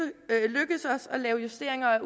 os at lave justeringer af